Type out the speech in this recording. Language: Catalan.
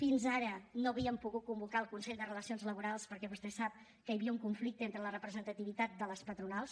fins ara no havíem pogut convocar el consell de relacions laborals perquè vostè sap que h havia un conflicte entre la representativitat de les patronals